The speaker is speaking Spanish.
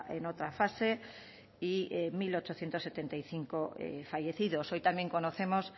en otra fase y mil ochocientos setenta y cinco fallecidos hoy también conocemos